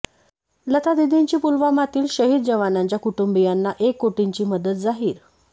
लतादीदींची पुलवामातील शहीद जवानांच्या कुटुंबियांना एक कोटींची मदत जाहीर